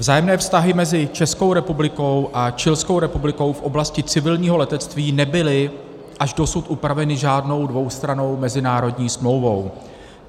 Vzájemné vztahy mezi Českou republikou a Chilskou republikou v oblasti civilního letectví nebyly až dosud upraveny žádnou dvoustrannou mezinárodní smlouvou.